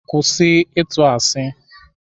Kwụsị ịtụ asi!